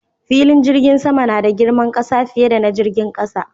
Filin jirgin sama nada girman ƙasa, fiye da na jirgin ƙasa